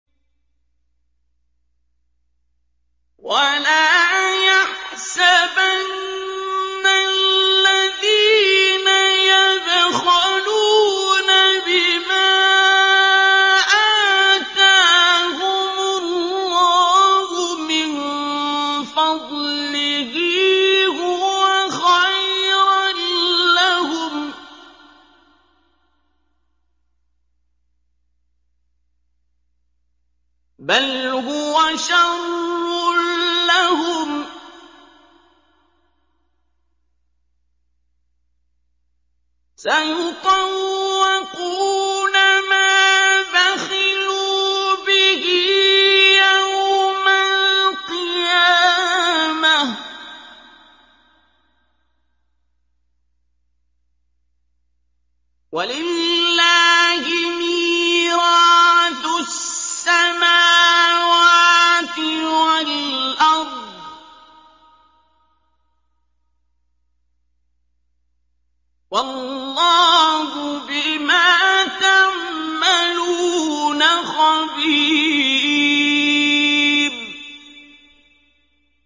وَلَا يَحْسَبَنَّ الَّذِينَ يَبْخَلُونَ بِمَا آتَاهُمُ اللَّهُ مِن فَضْلِهِ هُوَ خَيْرًا لَّهُم ۖ بَلْ هُوَ شَرٌّ لَّهُمْ ۖ سَيُطَوَّقُونَ مَا بَخِلُوا بِهِ يَوْمَ الْقِيَامَةِ ۗ وَلِلَّهِ مِيرَاثُ السَّمَاوَاتِ وَالْأَرْضِ ۗ وَاللَّهُ بِمَا تَعْمَلُونَ خَبِيرٌ